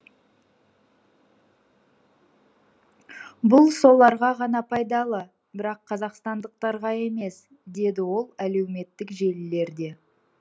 бұл соларға ғана пайдалы бірақ қазақстандықтарға емес деді ол әлеуметтік желілерде